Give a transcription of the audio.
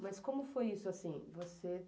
Mas como foi isso, assim? Você